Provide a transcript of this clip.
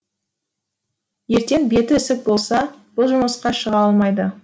ертең беті ісік болса бұл жұмысқа шыға алмайды